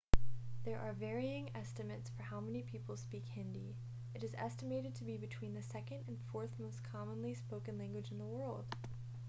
there are varying estimates for how many people speak hindi it is estimated to be between the second and fourth most commonly spoken language in the world